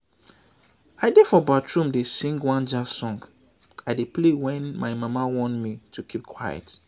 i dey for bathroom dey sing one jazz song i dey play wen my mama warn me to keep quiet